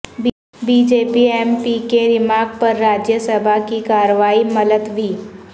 be J P M P کے remark پر راجیہ سبھا کی کارروائی ملتوی